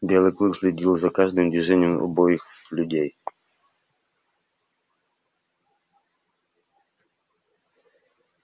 белый клык следил за каждым движением обоих людей